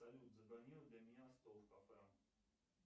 салют забронируй для меня стол в кафе